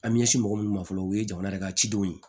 An bɛ ɲɛsin mɔgɔ munnu ma fɔlɔ u ye jamana yɛrɛ ka cidenw ye